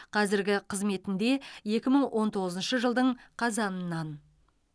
қазіргі қызметінде екі мың он тоғызыншы жылдың қазанынан